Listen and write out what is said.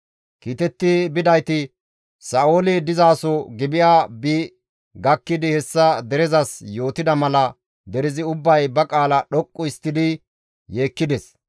Kiitetti bidayti Sa7ooli dizaso Gibi7a bi gakkidi hessa derezas yootida mala derezi ubbay ba qaala dhoqqu histtidi yeekkides.